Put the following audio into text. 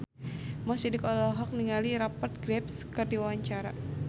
Mo Sidik olohok ningali Rupert Graves keur diwawancara